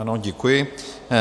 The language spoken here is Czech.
Ano, děkuji.